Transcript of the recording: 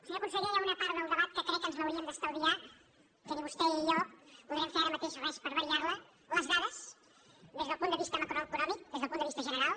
senyor conseller hi ha una part del debat que crec que ens l’hauríem d’estalviar que ni vostè ni jo podrem fer ara mateix res per variar la les dades des del punt de vista macroeconòmic des del punt de vista general